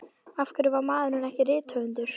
Af hverju varð maðurinn ekki rithöfundur?